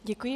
Děkuji.